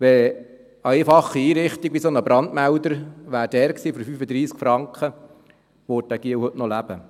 Wenn eine einfache Einrichtung wie dieser Brandmelder dort gewesen wäre, der 35 Franken kostet, würde dieser Junge heute noch leben.